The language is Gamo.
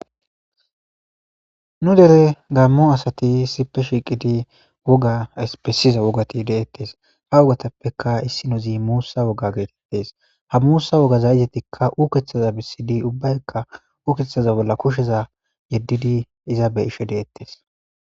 nu dere gaammo asati issipe shiiqidi woga espesiza wogati deettes ha wogatappeka issi nazi muussa woga geetettes ha muussa wogaza izetikka ukeththaza bisidi ubbaykka ukeththaza bolla kusheza yeddidi iza be'isho deettes